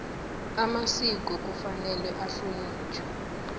amasiko kufanele ahlonitjhwe